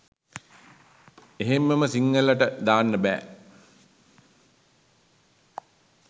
එහෙම්ම ම සිංහලට දාන්න බෑ